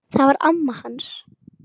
Það var amma hans